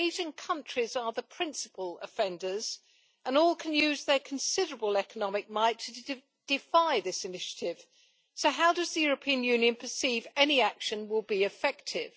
Asian countries are the principal offenders and they all can use their considerable economic might to defy this initiative, so how does the European Union perceive any action will be effective?